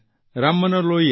Ram Manohar Lohia